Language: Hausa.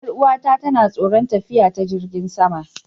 Yar'uwata tana tsoron tafiya ta jirigin sama.